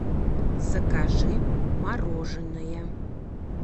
закажи мороженое